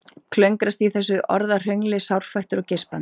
Klöngrast í þessu orðahröngli sárfættur og geispandi.